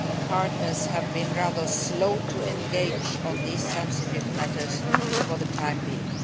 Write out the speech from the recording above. partners have been rather slow to engage on these sensitive matters for the time being.